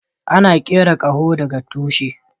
Ana kera kaho da ga tushi.